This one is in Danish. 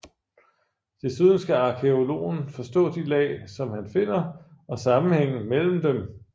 Desuden skal arkæologen forstå de lag som han finder og sammenhængen mellem dem